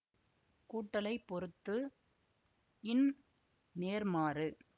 கூட்டலைப் பொறுத்து ன் நேர்மாறு